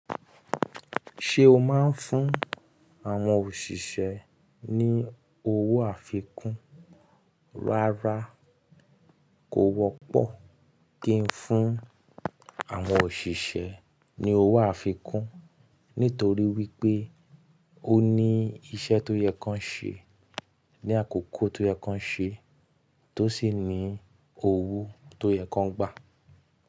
Ṣé o máa ń fún àwọn òṣìṣẹ́ ní owó àfikún? Rárá, kò wọ́pọ̀ kí n fún àwọn òṣìṣẹ́ ní owó àfikún nítorí wípé ó ní iṣẹ́ tó yẹ kan ṣe, ní àkókò tó yẹ kan ṣe, tó sì ní owó tó yẹ kàn gbà.